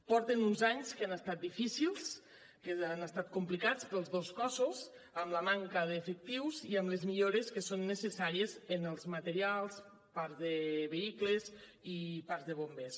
porten uns anys que han estat difícils que han estat complicats per als dos cossos amb la manca d’efectius i amb les millores que són necessàries en els materials parcs de vehicles i parcs de bombers